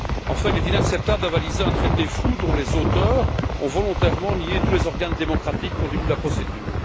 Enfin, il est inacceptable d'avaliser un traité flou dont les auteurs ont volontairement nié tous les organes démocratiques au début de la procédure.